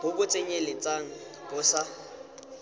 bo bo tsenyeletsang bo sa